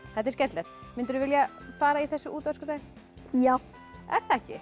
þetta er skemmtilegt myndirðu vilja fara í þessu út á öskudaginn já er það ekki